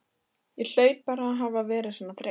Ég hlaut bara að hafa verið svona þreytt.